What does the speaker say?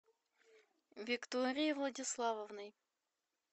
викторией владиславовной